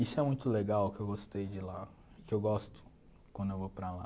Isso é muito legal que eu gostei de lá, que eu gosto quando eu vou para lá.